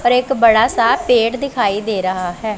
और एक बड़ा सा पेड़ दिखाई दे रहा है।